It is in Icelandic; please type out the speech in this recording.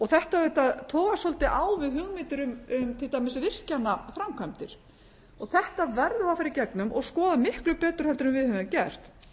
þetta auðvitað togast svolítið á við hugmyndir um til dæmis virkjanaframkvæmdir þetta verðum við að fara í gegnum og skoða miklu betur heldur en við höfum gert